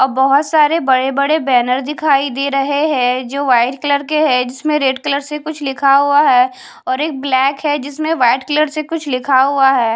अब बहोत बड़े बड़े बैनर दिखाई दे रहे है जो वाइट कलर के है जिस में रेड कलर से लिखा हुआ है और एक ब्लैक है जिस पे वाइट कलर से कुछ लिखा हुआ है।